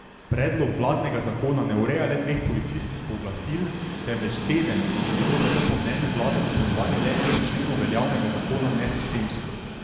Predlog vladnega zakona ne ureja le dveh policijskih pooblastil, temveč sedem in bi bilo zato po mnenju vlade dopolnjevanje le dveh členov veljavnega zakona nesistemsko.